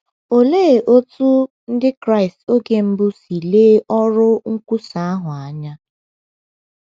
Olee otú Ndị Kraịst oge mbụ si lee ọrụ nkwusa ahụ anya?